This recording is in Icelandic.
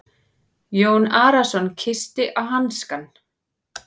Jón Arason kyssti á hanskann.